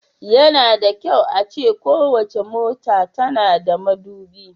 Yana da kyau a ce kowace mota tana da madubi.